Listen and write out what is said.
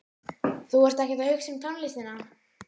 Þú ert ekkert að hugsa um tónlistina.